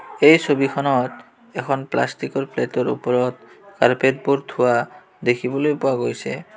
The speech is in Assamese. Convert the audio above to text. এই ছবিখনত এখন প্লাষ্টিকৰ প্লেটৰ ওপৰত কাৰ্পেটবোৰ থোৱা দেখিবলৈ পোৱা গৈছে।